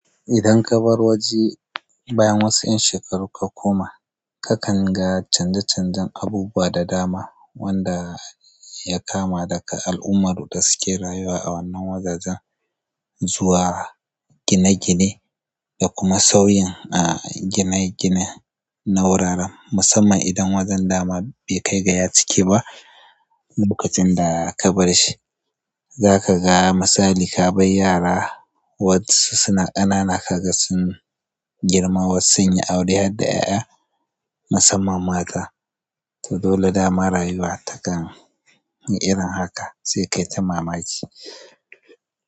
Idan kabar waje bayan wasu 'yan shekaru ka koma, kakan ga canje-canjen abubuwa da dama wanda ya kama daga al'ummar da suke rayuwa a wannan wajajan zuwa gine-gine da kuma sauyin a gine-gine na wuraren, musamman idan wajen dama bai kai ga ya cike ba lokacin da kabar shi. Zaka ga misali, ka bar yara waɗansu suna ƙanana kaga sun girma wasu sun yi aure har da 'ya'ya musamman mata. To dole dama rayuwa takan yi irin haka sai kai ta mamaki.